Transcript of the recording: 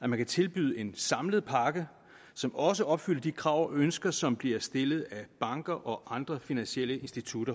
at man kan tilbyde en samlet pakke som også opfylder de krav og ønsker som bliver stillet af banker og andre finansielle institutter